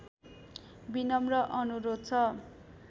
विनम्र अनुरोध छ